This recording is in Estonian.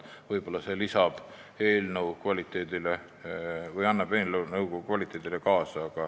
Võib-olla see lisab eelnõu kvaliteedile midagi.